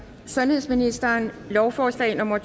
sundhedsministeren lovforslag nummer